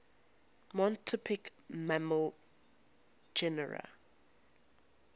monotypic mammal genera